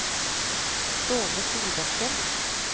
Ståle Solbakken